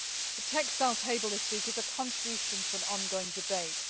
now. The text I will table this week is a contribution to an ongoing debate.